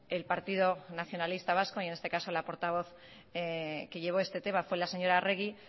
el partido nacionalista vasco y en este caso la portavoz que llevó este tema fue la señora arregi